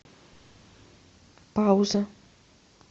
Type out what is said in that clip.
пауза